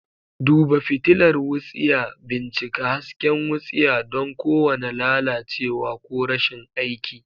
Duba fitilar wutsiya. Bincika hasken wutsiya don kowane lalacewa ko rashin aiki.